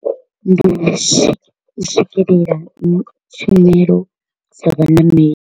Ndi u swikelela tshumelo dza vhaṋameli.